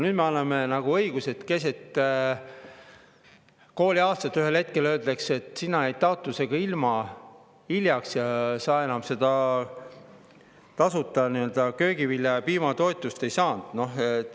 Nüüd me anname nagu õiguse, et keset kooliaastat saab ühel hetkel öelda, et sina jäid taotlusega hiljaks ja sa enam seda nii-öelda köögivilja‑ ja piimatoetust ei saa.